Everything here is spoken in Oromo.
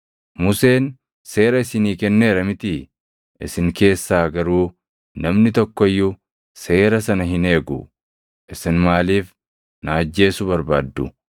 Museen seera isinii kenneera mitii? Isin keessaa garuu namni tokko iyyuu seera sana hin eegu. Isin maaliif na ajjeesuu barbaaddu?”